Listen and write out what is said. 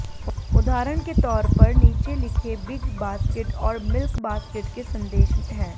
उदाहरण के तौर पर नीचे लिखे बिग बास्केट और मिल्क बास्केट के संदेश हैं